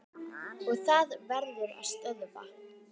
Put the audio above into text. Og það verður að stöðva.